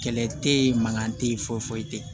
Kɛlɛ tɛ ye mankan tɛ ye foyi foyi tɛ